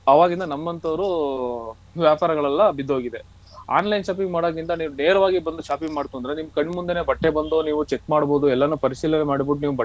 ಆವಾಗಿಂದ ನಮ್ಮಂತವರು ವ್ಯಾಪಾರಗಳೆಲ್ಲ ಬಿದ್ದು ಹೋಗಿದೆ online shopping ಮಾಡೋದರಿಂದ ನೀವು ನೇರವಾಗಿ ಬಂದು shopping ಮಾಡ್ತು ಅಂದ್ರೆ ನಿಮ್ ಕಣ್ಣು ಮುಂದೆನೆ ಬಟ್ಟೆ ಬಂದು ನೀವು check ಮಾಡಬೋದು ಎಲ್ಲನು ಪರಿಶೀಲನೆ ಮಾಡ್ಬಿಟ್ಟು ನೀವ್ ಬಟ್ಟೆ.